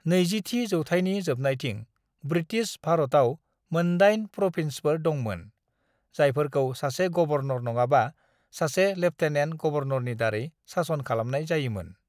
"20थि जौथाइनि जोबनायथिं, ब्रिटिश भारतआव मोनदाइन प्रभिन्सफोर दंमोन, जायफोरखौ सासे गबर्नर नङाबा सासे लेफ्टेनेन्ट गवर्नरनि दारै सासन खालामनाय जायोमोन।"